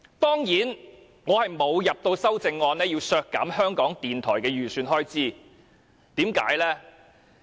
當然，我沒有提交修正案建議削減香港電台的預算開支，為甚麼呢？